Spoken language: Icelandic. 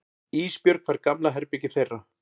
Ísbjörg fær gamla herbergið þeirra.